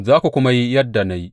Za ku kuma yi yadda na yi.